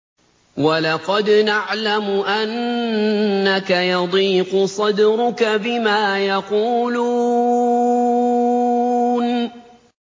وَلَقَدْ نَعْلَمُ أَنَّكَ يَضِيقُ صَدْرُكَ بِمَا يَقُولُونَ